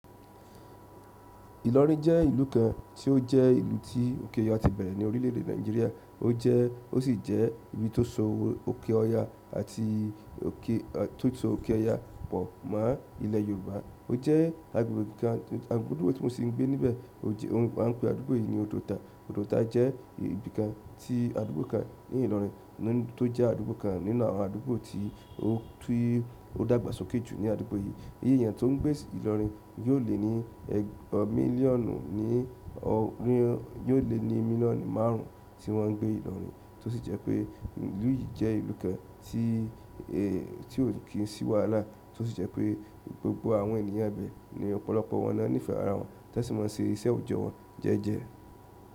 Ìlọrin jẹ́ ìlú kan tí ó jẹ́ ìlú tí òkè ọya ti bẹ̀rẹ̀ ní orílè èdè Nàìjíríà. Ó jẹ́-- ó sì jẹ́ ibi tó so òkè ọya àti òkè-- tó so òkè ọya pọ̀ mọ́ ilẹ̀ Yorùbá. Ó jẹ́ agbègbè kan, àdúgbò tí mo sì ń gbé níbẹ̀. Ti a ń pe àdúgbò yìí ni Òdòta. Òdòta jẹ́ ibi kan tí-- àdúgbò kan ní Ìlọrin tó jẹ́ àdúgbò kan nínú àwọn àdúgbò tí ó dágbàsókè jù ní àdúgbò yìí. Iye èèyàn tó ń gbé ìlọrin yóò le ní ẹgbàá mílíọ̀nù ní ọdún, yóò le ní mílíọ̀nù márùn ún tí wọ́n ń gbé ìlọrin. Tó sì jẹ́ pé ìlú yìí jẹ́ ìlú kan tí ó kiń sì wàhalá. Tó sì jẹ́ pé gbogbo àwọn ènìyàn ibẹ̀, ọ̀pọ̀lọpọ̀ wọn lo nífẹ̀ẹ́ ara wọn, ti won sì máa ń ṣe ìṣe òòjọ́ wọn jẹ́ẹ́jẹ́.